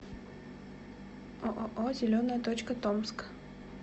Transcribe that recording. ооо зеленая точка томск